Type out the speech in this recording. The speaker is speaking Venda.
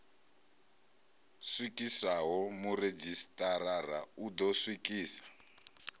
swikiswaho muredzhisitarara u ḓo swikisa